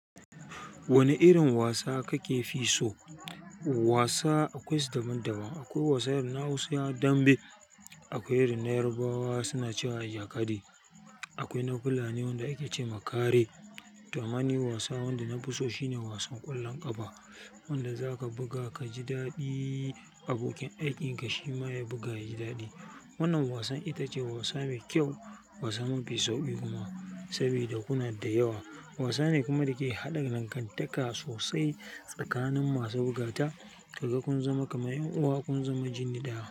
Wane irin wasa kake fi so? Wasa akwai su daban daban. Akwai wasan irin Hausawa, dambe, akwai irin na Yarbawa suna cewa ijakade, akwai na Fulani wanda ake ce ma kare. Ta amma ni wasa wanda na fi so shine wasan ƙwallon ƙafa. Wanda zaka buga ka ji daɗi abokin aikin ka shi ma ya buga ya ji daɗi. Wannan wasan ita ce wasa mai kyau, wasa mafi sauƙi kuma. Saboda kuna da yawa. Wasa ne kuma da ke haɗin dangantaka sosai tsakanin masu bugata, ka ga kun zama kamar 'yan uwa kun zama jini ɗaya.